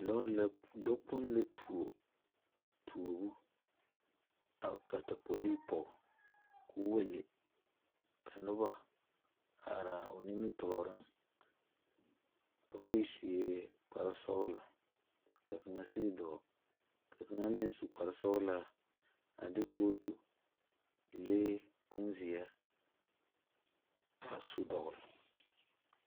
Lɔre la lɔ kpong la tuo tobu a ka tapoli pɔg k'o wa le ka noba a are a o nimitooreŋ. Ba bayi sue kpare sɔgla ka kanga si doo. Ka kanga meŋ su kpar sɔglaa a de kotu leɛ bon zie a su dogle.